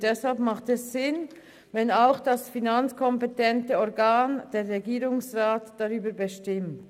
Deshalb macht es Sinn, dass auch das finanzkompetente Organ – der Regierungsrat – darüber bestimmt.